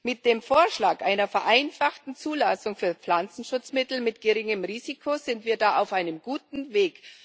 Mit dem Vorschlag einer vereinfachten Zulassung für Pflanzenschutzmittel mit geringem Risiko sind wir da auf einem guten Weg.